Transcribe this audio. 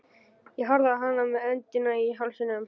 Ég horfði á hana með öndina í hálsinum.